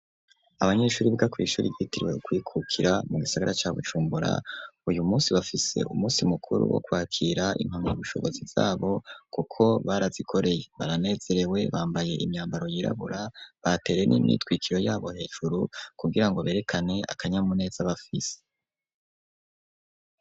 Abanyeshuri biga kw'ishuri ryitiriwe kwikukira mu gisigara ca Bucumbura uyu munsi bafise umunsi mukuru wo kwakira impama y'ubushobozi bwabo kuko barazikoreye baranezerewe bambaye imyambaro yirabura batere n'imyitwikiro yabo hejuru kugira ngo berekane akanyamuneza bafise.